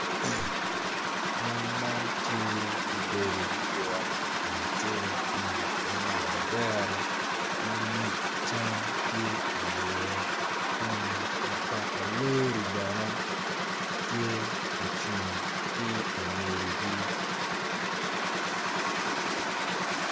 Mon man tye gubedo gugure lakacelo kun gumako odero ma nyig cam tye iye kun mutoka lori bene tye ocung ki ingegi.